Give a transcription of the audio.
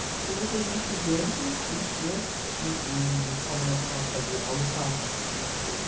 Por que vocês não se juntam e, né, e e começam a fazer a lutar contra esse preconceito?